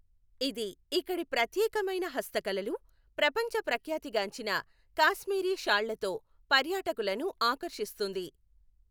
ఇది ఇక్కడి ప్రత్యేకమైన హస్తకళలు, ప్రపంచ ప్రఖ్యాతి గాంచిన కాశ్మీరీ షాళ్లతో పర్యాటకులను ఆకర్షిస్తుంది.